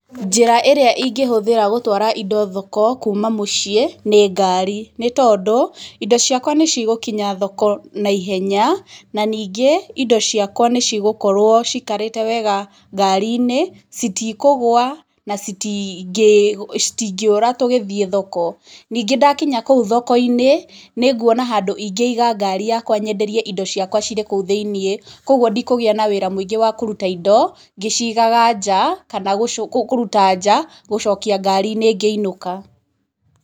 Njĩra ĩrĩa ingĩhũthĩra gũtwara indo thoko kuuma mũciĩ, nĩ ngari, nĩ tondũ, indo ciakwa nĩ cigũkinya thoko na ihenya, na ningĩ, indo ciakwa nĩ cigũkorwo ciikarĩte wega ngari-inĩ, citikũgũa, na citingĩũra tũgĩthiĩ thoko. Ningĩ ndakinya kũu thoko-inĩ, nĩ nguona handu ingĩiga ngari yakwa nyenderie indo ciakwa cirĩ kũu thĩiniĩ, kũguo ndikũgĩa na wĩra mũingĩ wa kũruta indo ngĩcigaga nja, kana kũruta nja gũcokia ngari-inĩ ngĩinũka.